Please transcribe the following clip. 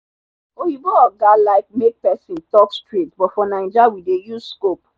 oyinbo oga like make person talk straight but for naija we dey use scope.